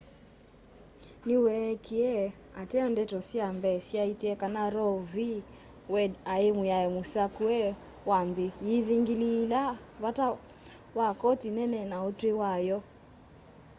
niweekie ateo ndeto sya mbee syaaite kana roe v wade ai mwiao musakue wa nthi yiithingiliila vata wa koti nene na utwi wayo